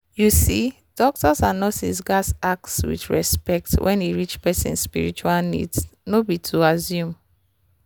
you see doctors and nurses gats ask with respect when e reach person spiritual needs no be to assume.